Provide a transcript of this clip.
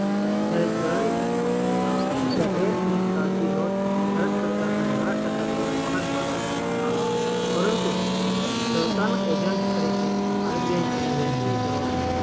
જયારે ચાલની સિક્કાઓ રૂપિયા એક ની કાગઝી નોટ ભારત સરકાર ના નાણાખાતા દ્વારા બહાર પાડવામાં આવે છે પરંતુ સરકાર ના agent તરીકે RBI તેની વહેચણી કરવાનું